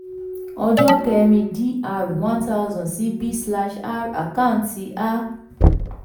ọjọ́ kẹ́rin dr one thousand sí b slash r àkáǹtì a